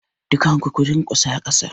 Dukkan ku ku durkusa kasa!